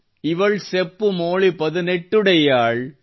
ಇವಳ್ ಸೆಪ್ಪು ಮೋಳಿ ಪದಿನೆಟ್ಟುಡೈಯ್ಯಾಳ್